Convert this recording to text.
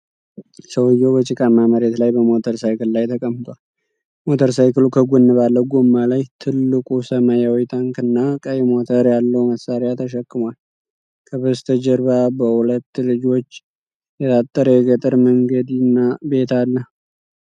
ሰውዬው በጭቃማ መሬት ላይ በሞተር ሳይክል ላይ ተቀምጧል። ሞተር ሳይክሉ ከጎን ባለ ጎማ ላይ ትልቅ ሰማያዊ ታንክ እና ቀይ ሞተር ያለው መሳሪያ ተሸክሟል። ከበስተጀርባ በሁለት ልጆች የታጠረ የገጠር መንገድና ቤት አለ።